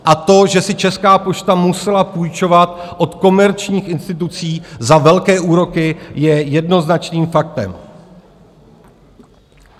A to, že si Česká pošta musela půjčovat od komerčních institucí za velké úroky, je jednoznačným faktem.